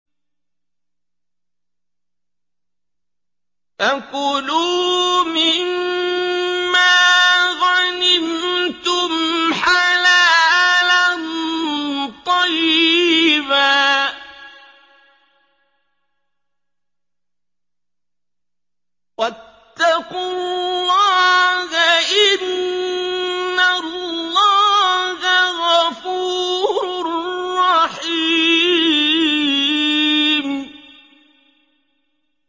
فَكُلُوا مِمَّا غَنِمْتُمْ حَلَالًا طَيِّبًا ۚ وَاتَّقُوا اللَّهَ ۚ إِنَّ اللَّهَ غَفُورٌ رَّحِيمٌ